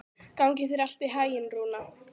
Gangi þér allt í haginn, Rúna.